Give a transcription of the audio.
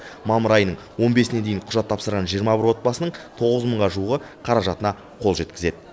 мамыр айының он бесіне дейін құжат тапсырған жиырма бір мың отбасының тоғыз мыңға жуығы қаражатына қол жеткізеді